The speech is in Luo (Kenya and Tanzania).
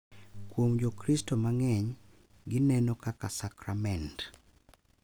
Kuom Jokristo mang’eny, gineno kaka sakrament, .